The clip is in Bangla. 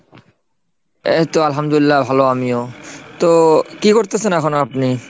এইতো আলহামদুল্লাহ ভালো আমিও, তো কি করতেছেন এখন আপনি?